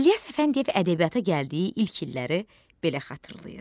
İlyas Əfəndiyev ədəbiyyata gəldiyi ilk illəri belə xatırlayır.